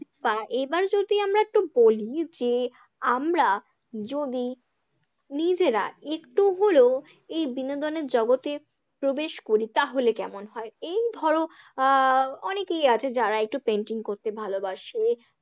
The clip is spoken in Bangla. একটু বলি যে আমরা যদি নিজেরা একটু হলেও এই বিনোদনের জগতে প্রবেশ করি তাহলে কেমন হয়? এই ধরো আহ অনেকেই আছে যারা একটু painting করতে ভালোবাসে।